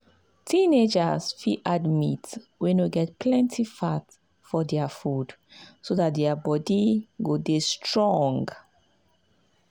teenagers fit add meat wey no get plenty fat for their food so dat their their body go dey strong.